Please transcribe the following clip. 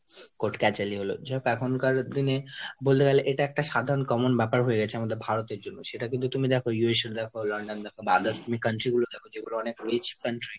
Coat কেচালি হল। যাইহোক এখনকার দিনে বলতে গেলে এটা একটা সাধারণ common ব্যাপার হয়ে গেছে আমাদের ভারতের জন্য। সেটা কিন্তু তুমি দেখো, USA দেখো London দেখো বা others তুমি country গুলো দেখো যেগুলো অনেক rich country